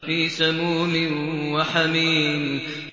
فِي سَمُومٍ وَحَمِيمٍ